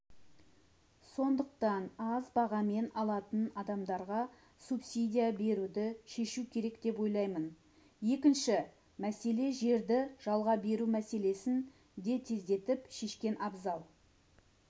сондықтан аз бағамен алатын адамдарға субсидия беруді шешу керек деп ойлаймын екінші мәселе жерді жалға беру мәселесін де тездетіп шешкен абзал